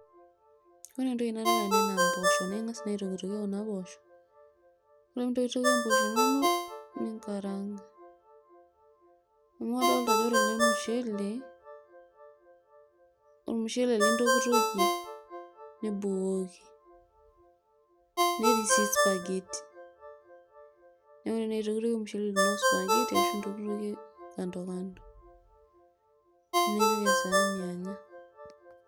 Ore entoki naadolita tene naa impoosho naa ing'as naa aitokitokie kuna poosho ore pee intokitokie impoosho inonok ninkaraanga amu adol ajo ore ele mushele ,ormushele lintokitokie nibukoki netii siii spergeti neeku aitokitokie ormushele lino spageti ashu intokitokie kando kando nipik esaani anya.